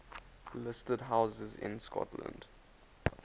listed houses in scotland